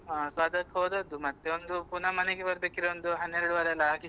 So ಅದಕ್ಕೆ ಹೋದದ್ದು ಮತ್ತೆ ಒಂದು ಪುನ ಮನೆಗೆ ಬರ್ಬೇಕಿದ್ರೆ ಒಂದು ಹನ್ನೆರಡುವರೆ ಎಲ್ಲ ಆಗಿತ್ತು.